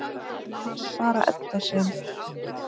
Það var bara Edda sem.